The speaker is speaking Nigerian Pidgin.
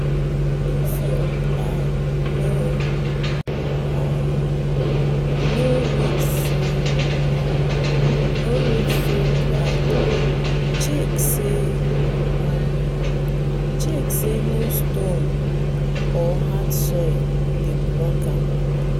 if your plow no um reach full um ground check say um no stone or hard soil dey block am.